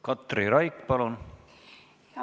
Katri Raik, palun!